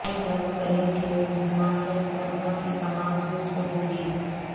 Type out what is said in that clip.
الحرم crane کے ملزمان پر مقدمہ کی سماعت بدھ کو ہوگی